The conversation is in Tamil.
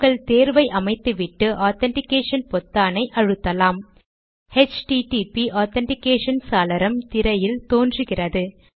உங்கள் தேர்வை அமைத்துவிட்டு ஆதன்டிகேஷன் பொத்தானை அழுத்தலாம்ஹெச்டிடிபி ஆதன்டிகேஷன் சாளரம் திரையில் தோன்றுகிறது